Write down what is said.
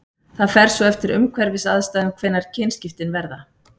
Það fer svo eftir umhverfisaðstæðum hvenær kynskiptin verða.